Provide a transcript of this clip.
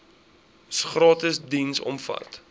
gratis diens omvat